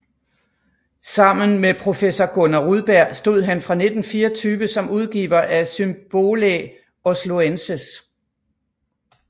Sammen med professor Gunnar Rudberg stod han fra 1924 som udgiver af Symbolæ Osloenses